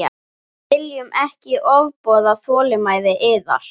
Við viljum ekki ofbjóða þolinmæði yðar.